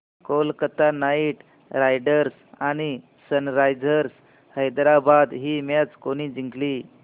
Kolkata Knight Riders आणि Sunrisers Hyderabad ही match कोणी जिंकली